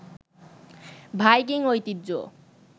Viking ঐতিহ্য